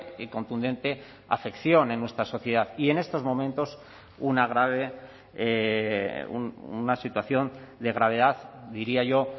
y contundente afección en nuestra sociedad y en estos momentos una grave una situación de gravedad diría yo